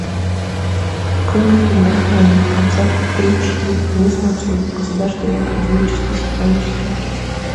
открой мне фильм рахманинов концерт три четыре денис мацуев государственный академический симфонический оркестр